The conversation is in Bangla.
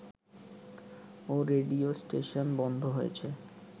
ও রেডিও স্টেশন বন্ধ রয়েছে